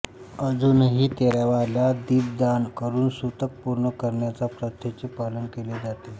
अजूनही तेराव्याला दीपदान करून सुतक पूर्ण करण्याच्या प्रथेचे पालन केले जाते